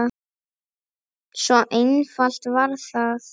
Svo einfalt var það.